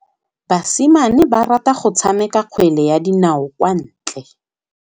Basimane ba rata go tshameka kgwele ya dinaô kwa ntle.